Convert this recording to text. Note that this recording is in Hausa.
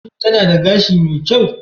Shin tana da gashi mai kyau?